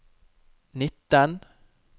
nitten